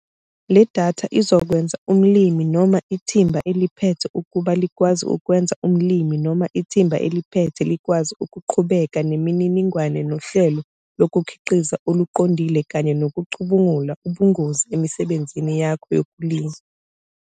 Le datha izokwenza umlimi noma ithimba eliphethe ukuba likwazi ukwenza umlimi noma ithimba eliphethe likwazi ukuqhubeka nemininingwane nohlelo lokukhiqiza oluqondile kanye nokucubungula ubungozi emisebenzini yakho yokulima.